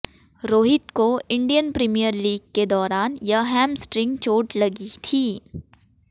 रोहित को Indian Premier League के दौरान यह हैमस्ट्रिंग चोट लगी थी